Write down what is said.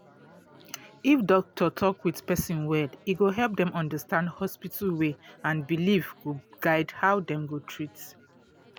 if doctor talk with person well e go help dem understand hospital way and belief go guide how dem go treat